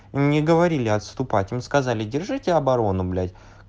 им не говорили отступать им сказали держите оборону блять